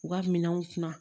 U ka minɛnw ti na